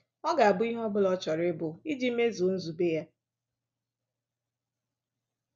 Ọ ga abụ ihe ọ bụla ọ chọrọ ịbụ iji mezuo nzube ya.